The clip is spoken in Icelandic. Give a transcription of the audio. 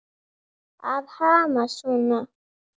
Að hamast svona.